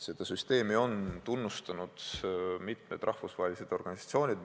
Seda süsteemi on tunnustanud mitmed rahvusvahelised organisatsioonid.